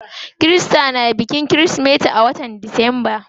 Kirista na bikin kirismeti a watan disamba.